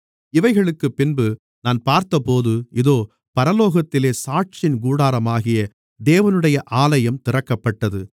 இவைகளுக்குப் பின்பு நான் பார்த்தபோது இதோ பரலோகத்திலே சாட்சியின் கூடாரமாகிய தேவனுடைய ஆலயம் திறக்கப்பட்டது